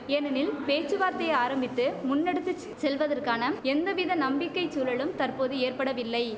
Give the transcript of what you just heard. ஏனெனில் பேச்சுவார்த்தையை ஆரம்பித்து முன்னெடுத்து செல்வதற்கான எந்தவித நம்பிக்கை சூழலும் தற்போது ஏற்படவில்லை